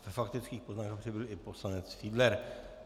A ve faktických poznámkách přibyl i poslanec Fiedler.